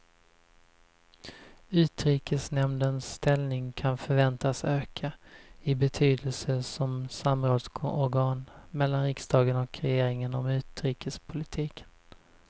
Utrikesnämndens ställning kan förväntas öka i betydelse som samrådsorgan mellan riksdagen och regeringen om utrikespolitiken.